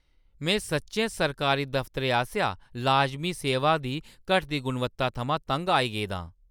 में सच्चैं सरकारी दफ्तरें आसेआ लाजमी सेवां दी घटदी गुणवत्ता थमां तंग आई गेआ आं।